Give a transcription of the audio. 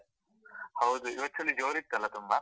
ಹೌದು, ಇವತ್ತು ಚಳಿ ಜೋರ್ ಇತ್ತಲ ತುಂಬಾ?